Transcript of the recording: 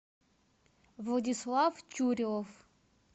владислав тюрев